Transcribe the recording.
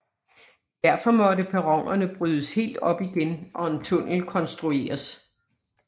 Derfor måtte perronerne brydes helt op igen og en tunnel konstrueres